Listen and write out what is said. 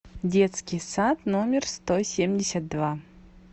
детский сад номер сто семьдесят два